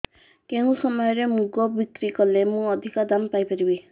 କେଉଁ ସମୟରେ ମୁଗ ବିକ୍ରି କଲେ ମୁଁ ଅଧିକ ଦାମ୍ ପାଇ ପାରିବି